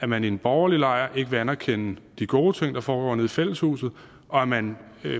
man i den borgerlige lejr ikke vil anerkende de gode ting der foregår nede i fællesshuset og at man